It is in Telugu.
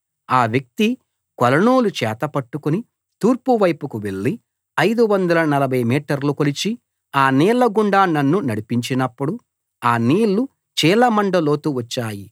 ఆ వ్యక్తి కొలనూలు చేత పట్టుకుని తూర్పు వైపుకు వెళ్లి 540 మీటర్లు కొలిచి ఆ నీళ్ల గుండా నన్ను నడిపించినపుడు ఆ నీళ్లు చీలమండ లోతు వచ్చాయి